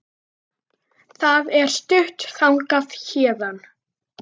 Það er stutt þangað héðan.